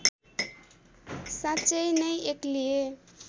साँच्चै नै एक्लिए